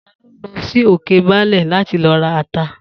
Ta ló lọ sí Òkebaálẹ̀ láti lọ ra ata?